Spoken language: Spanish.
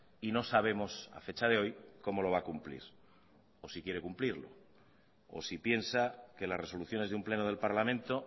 y no sabemos a fecha de hoy cómo lo va a cumplir o si quiere cumplirlo o si piensa que las resoluciones de un pleno del parlamento